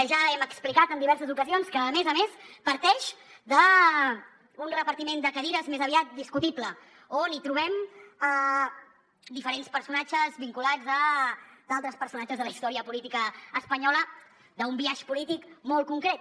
ja hem explicat en diverses ocasions que a més a més parteix d’un repartiment de cadires més aviat discutible on trobem diferents personatges vinculats a altres personatges de la història política espanyola d’un biaix polític molt concret